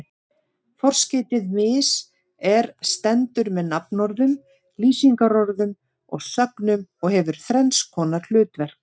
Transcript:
Forskeytið mis- er stendur með nafnorðum, lýsingarorðum og sögnum og hefur þrenns konar hlutverk.